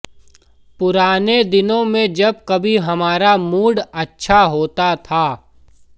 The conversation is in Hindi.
पुराने दिनों में जब कभी हमारा मूड अच्छा होता था